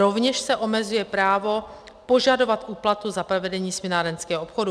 Rovněž se omezuje právo požadovat úplatu za provedení směnárenského obchodu.